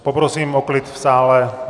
Poprosím o klid v sále.